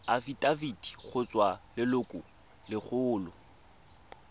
afitafiti go tswa go lelokolegolo